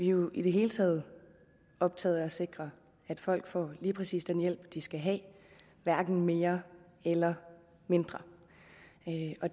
jo i det hele taget optaget af at sikre at folk får lige præcis den hjælp de skal have hverken mere eller mindre